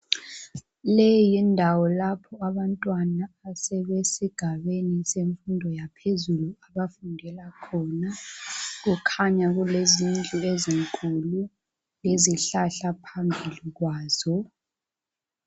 Leyiyindawo lapho abantwana asebesigabeni semfundo yaphezulu abafundela khona. Kukhanya kulezindlu ezinkulu, lezihlahla phambili kwazo.